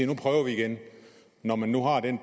nu prøver vi igen når man nu har den